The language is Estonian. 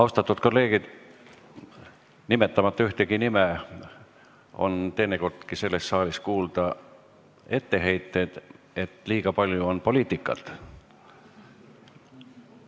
Austatud kolleegid, ühtegi nime nimetamata ütlen, et teinekordki on selles saalis olnud kuulda etteheiteid, et liiga palju on poliitikat.